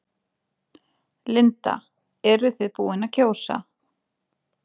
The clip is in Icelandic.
Linda: Eruð þið búin að kjósa?